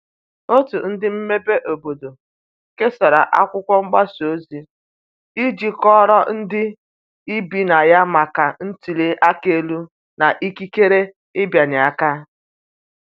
otu ndi mmebe obodo kesara akwụkwo mgbasa ozi iji kọoro ndi ibi na ya maka ntuli aka elu na ikekere ịbịanye aka